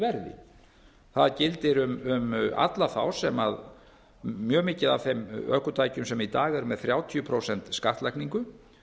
verði það gildir um alla þá sem mjög mikið af þeim ökutækjum sem í dag eru með þrjátíu prósent skattlagningu